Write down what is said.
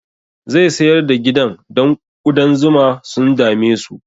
Zai sayar da gidan don ƙudan zuma sun dame su